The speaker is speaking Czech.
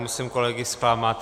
Musím kolegy zklamat.